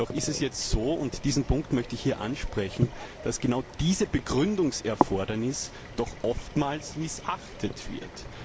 Doch ist es jetzt so, und diesen Punkt möchte ich hier ansprechen, dass genau dieses Begründungserfordernis ständig missachtet wird.